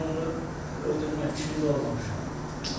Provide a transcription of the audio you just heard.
Mən özümü qismən təqsirli bilirəm.